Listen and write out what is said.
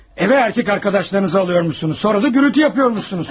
Evə kişi dostlarınızı alırsınız, sonra da səs-küy salırsınız.